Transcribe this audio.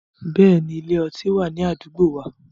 Bẹ́ẹ̀ni, ile- ọti wa ni adugbo wa